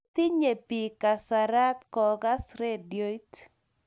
matinye pik kasarat kokas radiot